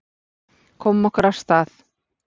Komum okkur af stað.